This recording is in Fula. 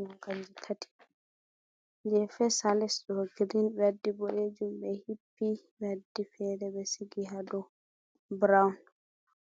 Robaaji tati je fes ha les ɗo grin be waddi boɗejum ɓe hippi ɓe waddi fere be sigi ha dow brown,